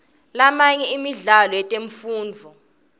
lamanye emidlalo yetemfundvo